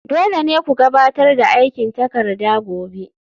Dole ne ku gabatar da aikin takarda gobe